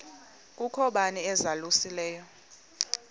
kukho bani uzalusileyo